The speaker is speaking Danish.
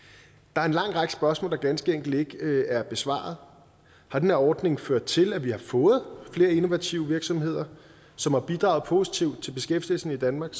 der er en lang række spørgsmål der ganske enkelt ikke er besvaret har den her ordning ført til at vi har fået flere innovative virksomheder som har bidraget positivt til beskæftigelsen i danmark